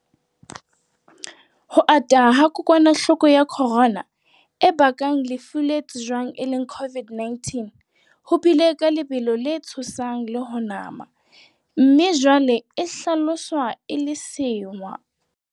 Ho ata ha kokwanahloko ya corona, e bakang lefu le tsejwang e le COVID-19, ho bile ka lebelo le tshosang le ho nama, mme jwale e hlaloswa e le sewa.